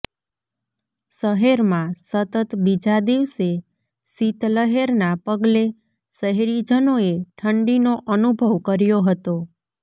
શહેરમાં સતત બીજા દિવસે શીત લહેરના પગલે શહેરીજનોએ ઠંડીનો અનુભવ કર્યો હતો